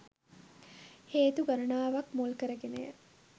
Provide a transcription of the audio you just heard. හේතු ගණනාවක්‌ මුල් කරගෙනය.